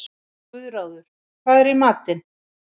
Guðráður, hvað er í matinn?